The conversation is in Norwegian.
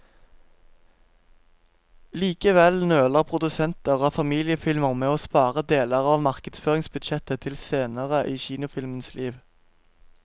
Likevel nøler produsenter av familiefilmer med å spare deler av markedsføringsbudsjettet til senere i kinofilmens liv.